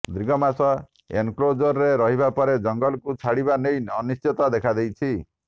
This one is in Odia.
ଦୀର୍ଘ ମାସ ଏନକ୍ଲୋଜରରେ ରହିବା ପରେ ଜଙ୍ଗଲକୁ ଛାଡିବା ନେଇ ଅନିଶ୍ଚିତତା ଦଖାଦେଇଛି